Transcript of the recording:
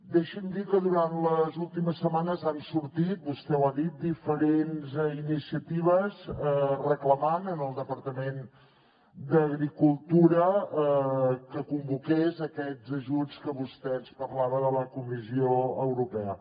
deixi’m dir que durant les últimes setmanes han sortit vostè ho ha dit diferents iniciatives reclamant al departament d’agricultura que convoqués aquests ajuts que vostè ens parlava de la comissió europea